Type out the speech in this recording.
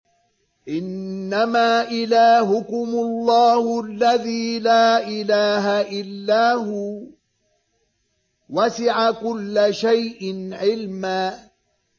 إِنَّمَا إِلَٰهُكُمُ اللَّهُ الَّذِي لَا إِلَٰهَ إِلَّا هُوَ ۚ وَسِعَ كُلَّ شَيْءٍ عِلْمًا